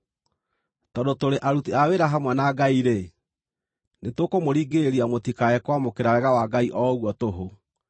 Tondũ tũrĩ aruti a wĩra hamwe na Ngai-rĩ, nĩtũkũmũringĩrĩria mũtikae kwamũkĩra wega wa Ngai o ũguo tũhũ.